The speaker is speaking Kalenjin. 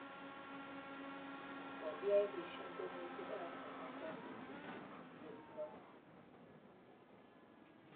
Kogihairisyan tiemutik aeng amu kobiit kipchurchuriet neoo